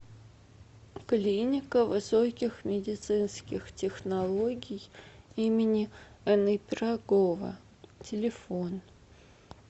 клиника высоких медицинских технологий им ни пирогова телефон